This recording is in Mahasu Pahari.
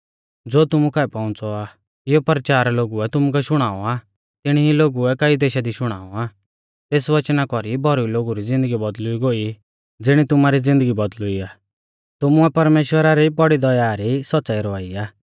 ज़ो तुमु काऐ पौउंच़ौ आ इयौ परचार लोगुऐ तुमुकै शुणाऔ आ तिणी ई लोगुऐ कई देशा दी शुणाऔ आ तेस वचना कौरी भौरी लोगु री ज़िन्दगी बौदल़ुई गोई ज़िणी तुमारी ज़िन्दगी बौदल़ुई आ तुमुऐ परमेश्‍वरा री बौड़ी दया री सौच़्च़ाई रवाई आ